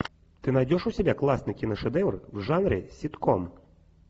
ты найдешь у себя классный киношедевр в жанре ситком